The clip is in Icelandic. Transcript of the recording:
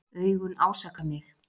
Augun ásaka mig.